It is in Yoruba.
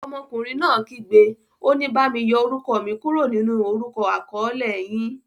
Ọmọkùnrin náà kígbe, òní; bami yọ orúkọ mi kúrò nínú orúkọ akọ̀ọ̀lẹ yín.